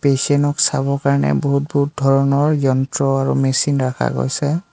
পেচেনক চাব কাৰণে বহুত বহুত ধৰণৰ যন্ত্ৰ আৰু মেচিন ৰাখা গৈছে।